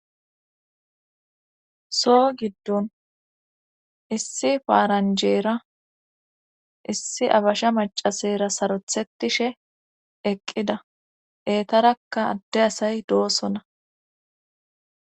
so giddon issi faaranjeera issi abasha macasera sarothetishe eqqida etarakka adde asay doosona